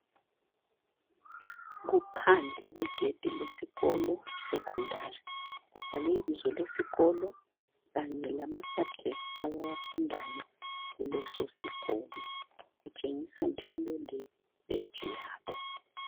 Kuphandle kwegedi lesikolo iSecondary kubhalwe ibizo lesikolo lama subjects abawafundayo kutshengisa njalo le badge yabo.